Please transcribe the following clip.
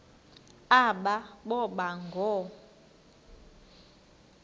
aba boba ngoo